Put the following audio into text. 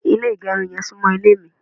ile igerun yen sunmo ile mi